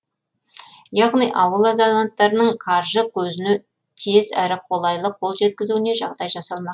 яғни ауыл азаматтарының қаржы көзіне тез әрі қолайлы қол жеткізуіне жағдай жасалмақ